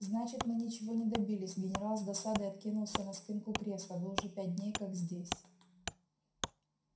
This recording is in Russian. значит мы ничего не добились генерал с досадой откинулся на спинку кресла вы уже пять дней как здесь